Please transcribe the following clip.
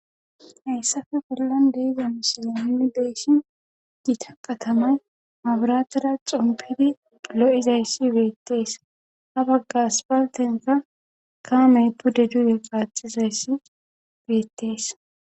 hayssafe bollan deiza musile mini beeshin gita qatamay maaburatada xumpidi lo7izayssi beettees ha baggas paltenka kaamey pude duuye qaaxizayssi beettees